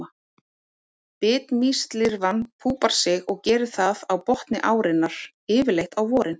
Bitmýslirfan púpar sig og gerir það á botni árinnar, yfirleitt á vorin.